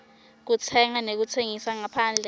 kutsenga nekutsengisa ngaphandle